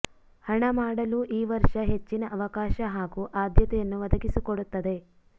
ಹಣ ಮಾಡಲು ಈ ವರ್ಷ ಹೆಚ್ಚಿನ ಅವಕಾಶ ಹಾಗೂ ಆದ್ಯತೆಯನ್ನು ಒದಗಿಸಿಕೊಡುತ್ತದೆ